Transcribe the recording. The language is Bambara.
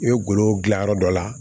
I bɛ golo gilan yɔrɔ dɔ la